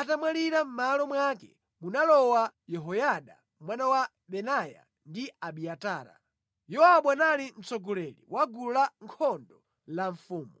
atamwalira mʼmalo mwake munalowa Yehoyada mwana wa Benaya ndi Abiatara. Yowabu anali mtsogoleri wa gulu lankhondo la mfumu.